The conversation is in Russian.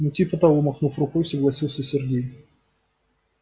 ну типа того махнув рукой согласился сергей